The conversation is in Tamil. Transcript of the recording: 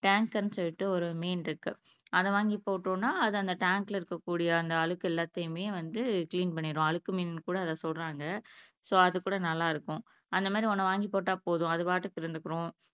டேங்கர்னு சொல்லிட்டு ஒரு மீன் இருக்கு அதை வாங்கி போட்டோம்னா அது அந்த டேங்க்ல இருக்கக்கூடிய அழுக்கு எல்லாத்தையுமே வந்து க்ளீன் பன்னீரும் அழுக்கு மீனுன்னு கூட அதை சொல்றாங்க சோ அது கூட நல்லா இருக்கும் அந்த மாதிரி ஒன்னை வாங்கிப்போட்டா போதும் அது பாட்டுக்கு இருந்துக்கும்